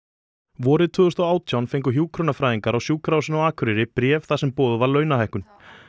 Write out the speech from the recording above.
vorið tvö þúsund og átján fengu hjúkrunarfræðingar á Sjúkrahúsinu á Akureyri bréf þar sem boðuð var launahækkun